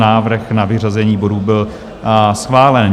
Návrh na vyřazení bodů byl schválen.